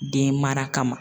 Den mara kama